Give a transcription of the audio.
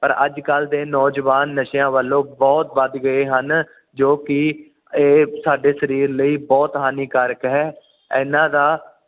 ਪਰ ਅੱਜ ਕੱਲ ਦੇ ਨੌਜਵਾਨ ਨਸ਼ਿਆਂ ਵਲੋਂ ਬੁਹਤ ਵੱਧ ਗਏ ਹਨ ਜੋ ਕਿ ਇਹ ਸਾਡੇ ਸਰੀਰ ਲਈ ਬੁਹਤ ਹਾਨੀਕਾਰਕ ਹੈ ਇਹਨਾਂ ਦਾ